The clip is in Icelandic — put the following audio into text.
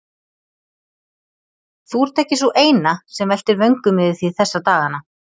Þú ert ekki sú eina, sem veltir vöngum yfir því þessa dagana